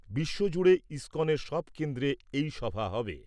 বিশ্বজুড়ে ইস্কনের সব কেন্দ্রে এই সভা হবে।